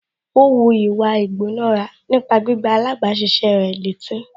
Ó wu ìwà ìgbónára nípa gbígbá alábàáṣiṣé rẹ̀ létí